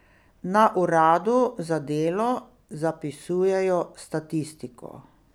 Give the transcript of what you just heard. Na uradu za delo zapisujejo statistiko.